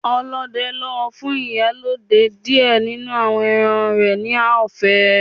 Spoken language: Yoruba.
Ọdẹ lọ fun Ìyálode diẹ ninu awọn ẹran rẹ ni ọfẹ